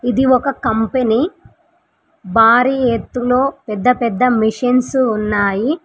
ఇది ఒక కంపెనీ భారీ ఎత్తులో పెద్దపెద్ద మిషన్స్ ఉన్నాయి.